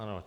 Ano.